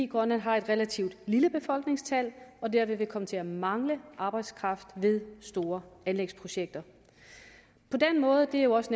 grønland har et relativt lille befolkningstal og dermed vil komme til at mangle arbejdskraft ved store anlægsprojekter på den måde det har også